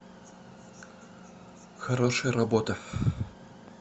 хорошая работа